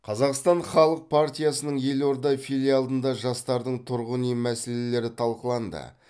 қазақстан халық партиясының елорда филиалында жастардың тұрғын үй мәселелері талқыланды